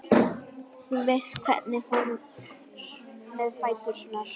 Þú veist hvernig fór með fæturna.